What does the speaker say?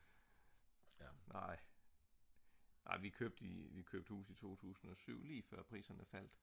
nej nej vi købte hus i 2007 lige før priserne faldt